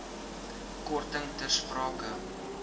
korting ter sprake